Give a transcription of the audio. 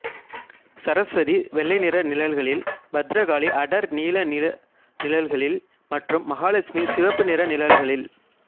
சரஸ்வதி வெள்ளை நிற நிழல்களில் பத்திரகாளி அடர் நீல நிற நிழல்களில் மற்றும் மகாலட்சுமி சிவப்பு நிற நிழல்களில்